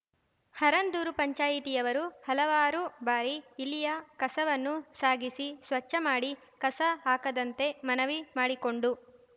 ಹರಂದೂರು ಪಂಚಾಯಿತಿಯವರು ಹಲವಾರು ಬಾರಿ ಇಲ್ಲಿಯ ಕಸವನ್ನು ಸಾಗಿಸಿ ಸ್ವಚ್ಛ ಮಾಡಿ ಕಸ ಹಾಕದಂತೆ ಮನವಿ ಮಾಡಿಕೊಂಡು